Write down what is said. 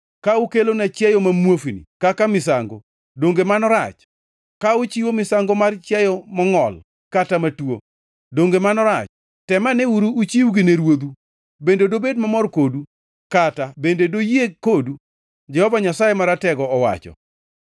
Ka ukelona chiayo ma muofni kaka misango, donge mano rach? Ka uchiwo misango mar chiayo mongʼol kata matuo, donge mano rach? Temaneuru uchiwgi ne ruodhu! Bende dobed mamor kodu? Kata bende doyie kodu?” Jehova Nyasaye Maratego owacho.